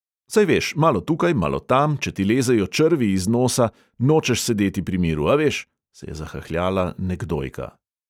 "Saj veš, malo tukaj, malo tam, če ti lezejo črvi iz nosa, nočeš sedeti pri miru, a veš?" se je zahahljala nekdojka.